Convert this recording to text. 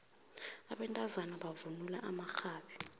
abantazana bavunula amaxhabi